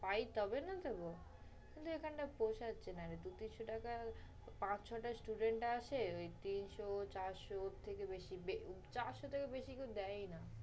পাই তবে না দিবো, কিন্তু এখানে পোচ্ছাচ্ছে নারে। দুই-তিনশ টাকার পাঁচ-ছয়টা student আসে, ঐ তিনশ-চারশ ওর থেকে বেশি, বে~ চারশ থেকে বেশি কেউই দেয়ই না।